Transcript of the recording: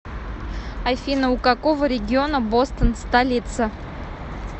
афина у какого региона бостон столица